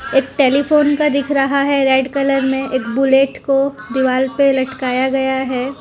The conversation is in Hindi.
एक टेलीफोन का दिख रहा है रेड कलर में एक बुलेट को दीवाल पे लटकाया गया है।